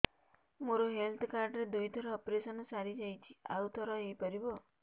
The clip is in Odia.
ମୋର ହେଲ୍ଥ କାର୍ଡ ରେ ଦୁଇ ଥର ଅପେରସନ ସାରି ଯାଇଛି ଆଉ ଥର ହେଇପାରିବ